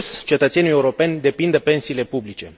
În plus, cetățenii europeni depind de pensiile publice.